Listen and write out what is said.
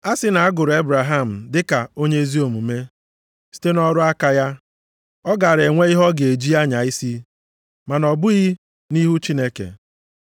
A sị na a gụrụ Ebraham dịka onye ezi omume site nʼọrụ aka ya, ọ gaara enwe ihe ọ ga-eji anya isi, ma na ọ bụghị nʼihu Chineke.